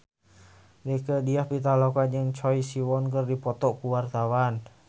Rieke Diah Pitaloka jeung Choi Siwon keur dipoto ku wartawan